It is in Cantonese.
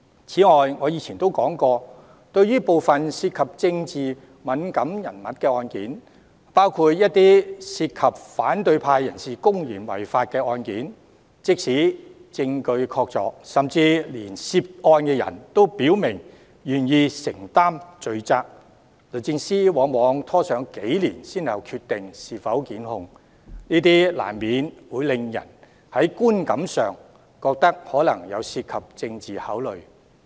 此外，我以前也說過，對於部分涉及政治敏感人物的案件，包括一些涉及反對派人士公然違法的案件，即使證據確鑿，甚至連涉案人都表明願意承擔罪責，律政司往往拖延多年才決定是否檢控，難免會令人在觀感上覺得相關決定涉及政治考慮。